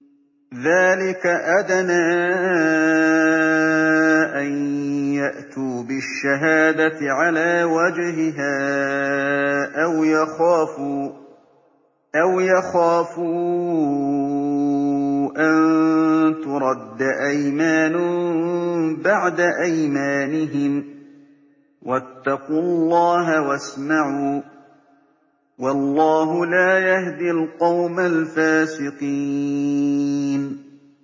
ذَٰلِكَ أَدْنَىٰ أَن يَأْتُوا بِالشَّهَادَةِ عَلَىٰ وَجْهِهَا أَوْ يَخَافُوا أَن تُرَدَّ أَيْمَانٌ بَعْدَ أَيْمَانِهِمْ ۗ وَاتَّقُوا اللَّهَ وَاسْمَعُوا ۗ وَاللَّهُ لَا يَهْدِي الْقَوْمَ الْفَاسِقِينَ